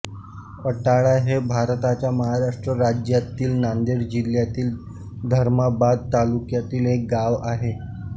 अटाळा हे भारताच्या महाराष्ट्र राज्यातील नांदेड जिल्ह्यातील धर्माबाद तालुक्यातील एक गाव आहे